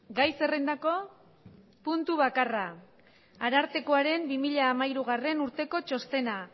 gai zerrendako puntu bakarra arartekoaren bi mila hamairugarrena urteko txostena